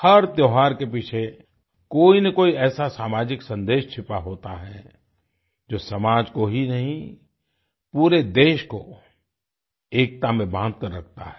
हर त्योहार के पीछे कोईनकोई ऐसा सामाजिक संदेश छुपा होता है जो समाज को ही नहीं पूरे देश को एकता में बाँधकर रखता है